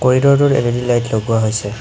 কৰিদ'ৰটোত L E D light লগোৱা হৈছে।